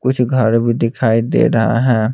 कुछ घर भी दिखाई दे रहा है।